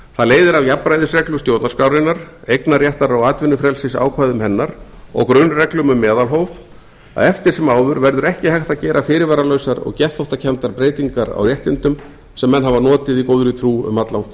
það leiðir af jafnræðisreglu stjórnarskrárinnar eignarréttar og atvinnufrelsisákvæðum hennar og grunnreglum um meðalhóf að eftir sem áður verður ekki hægt að gera fyrirvaralausar og geðþóttakenndar breytingar á réttindum sem menn hafa notið í góðri trú um alllangt skeið